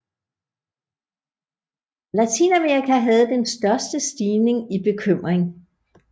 Latinamerika havde den største stigning i bekymring